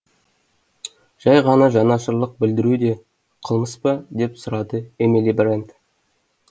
жай ғана жанашырлық білдіру де қылмыс па деп сұрады эмили брент